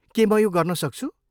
के म यो गर्न सक्छु?